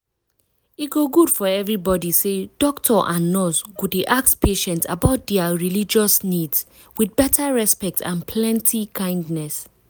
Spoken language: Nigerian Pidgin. e go good for everybody say doctor and nurse go dey ask patient about dia religious needs with beta respect and plenty kindness.